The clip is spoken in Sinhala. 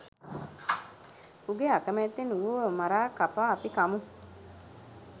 උගේ අකමැත්තෙන් ඌව මරා කපා අපි කමු.